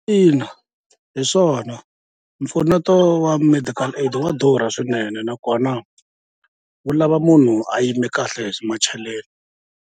Ina hi swona mpfuneto wa medical aid wa durha swinene nakona wu lava munhu a yime kahle hi swa macheleni.